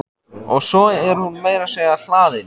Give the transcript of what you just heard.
Og svo er hún meira að segja hlaðin.